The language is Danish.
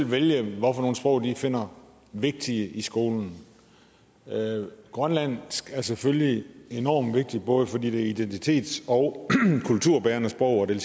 vælge hvilke sprog de finder vigtige i skolen grønlandsk er selvfølgelig enormt vigtigt både fordi det er identitets og kulturbærende sprog og det